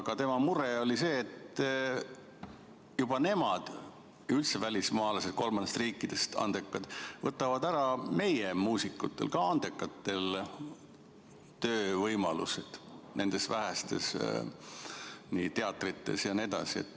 Aga tema mure oli see, et nemad, üldse välismaalased kolmandatest riikidest, need andekad, võtavad meie muusikutelt, samuti andekatelt, ära töövõimalused nendes vähestes teatrites jne.